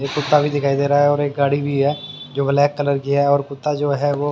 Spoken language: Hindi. एक कुत्ता भी दिखाई दे रहा है और एक गाड़ी भी है जो ब्लैक कलर की है और कुत्ता जो है वो--